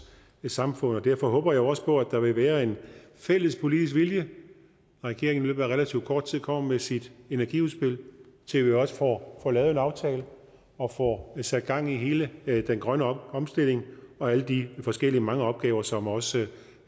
samfund og derfor håber jeg også på at der vil være en fælles politisk vilje når regeringen i løbet af relativt kort tid kommer med sit energiudspil til at vi også får får lavet en aftale og får sat gang i hele den grønne omstilling og alle de forskellige mange opgaver som også